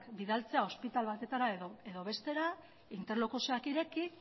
bidaltzea ospitale batetara edo bestera interlokuzioak ireki